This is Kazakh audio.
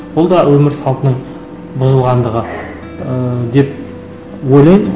бұл да өмір салтының бұзылғандығы ыыы деп ойлаймын